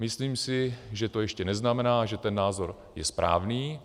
Myslím si, že to ještě neznamená, že ten názor je správný.